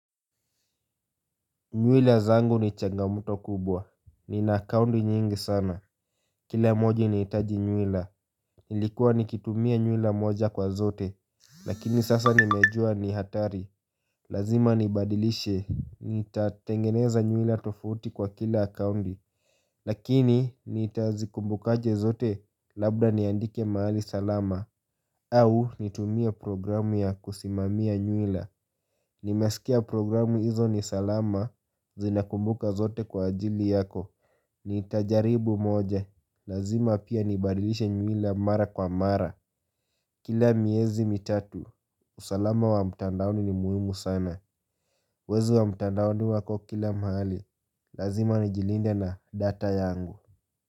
Nywela zangu ni changamoto kubwa, ninacount nyingi sana Kila moji inahitaji nywela Nilikuwa nikitumia nywela moja kwa zote Lakini sasa nimejua ni hatari Lazima nibadilishe Nitatengeneza nywila tofauti kwa kila counti Lakini nitazikumbukaje zote labda niandike mahali salama au nitumia programu ya kusimamia nywila Nimesikia programu hizo ni salama Zinakumbuka zote kwa ajili yako Nitajaribu moja Lazima pia nibadilishe nywila mara kwa mara Kila miezi mitatu usalama wa mtandaoni ni muhimu sana Wezi wa mtandaoni wako kila mahali Lazima nijilinde na data yangu.